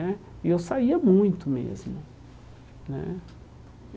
Né E eu saía muito mesmo né.